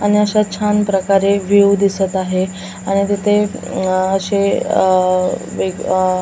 आणि अशा छान प्रकारे व्यू दिसत आहे आणि तिथे अ अशे अअअ वेग अअ --